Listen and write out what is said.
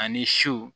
Ani so